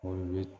O ye